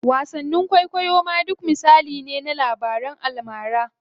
Wasanni kwaikwayo ma duk misali ne na labaran almara.